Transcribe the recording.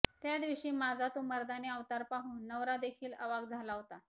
त्या दिवशी माझा तो मर्दानी अवतार पाहून नवरादेखील अवाक् झाला होता